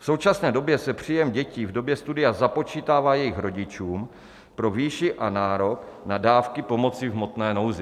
V současné době se příjem dětí v době studia započítává jejich rodičům pro výši a nárok na dávky pomoci v hmotné nouzi.